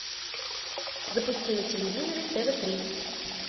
запусти на телевизоре тв три